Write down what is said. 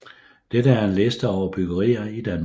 Dette er en liste over bryggerier i Danmark